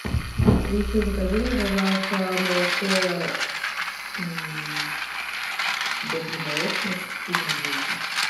алиса закажи мне пожалуйста молоко добрый молочник из магнита